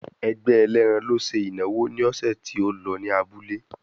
Ẹgbẹ́ ẹlẹ́ran ló ṣe ìnáwó ní ọ̀sẹ̀ tí ó lọ ní abúlé.